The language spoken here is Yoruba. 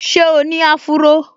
Ṣé o ní áfúró?